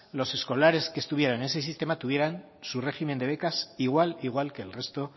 los escolares que estuvieran en ese sistema tuvieran su régimen de becas igual igual que el resto